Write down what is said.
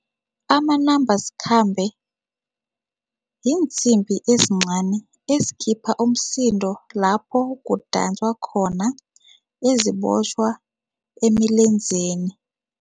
Amanambasikhambe yiinsimbi ezincani ezikhipha umsindo lapho kudanswa khona, ezibotjhwa emilenzeni.